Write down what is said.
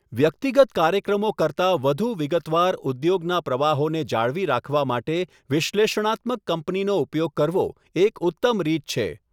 વ્યક્તિગત કાર્યક્રમો કરતા વધુ વિગતવાર ઉદ્યોગના પ્રવાહોને જાળવી રાખવા માટે વિશ્લેષણાત્મક કંપનીનો ઉપયોગ કરવો એક ઉત્તમ રીત છે.